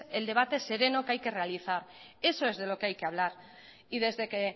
el debate sereno que hay que realizar eso es de lo que hay que hablar y desde que